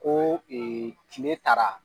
Ko tile taara.